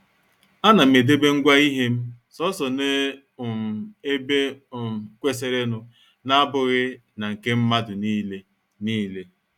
A nam edebe ngwa ihem, soso n' um ebe um kwesịrịnụ n' abụghị na nke mmadụ niile. niile.